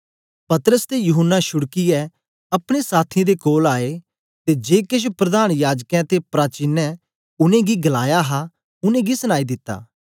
पतरस ते यूहन्ना छुड़कियै अपने साथियें दे कोल आए ते जे केछ प्रधान याजकें ते प्राचीन उनेंगी गलाया हा उनेंगी सनाई दिता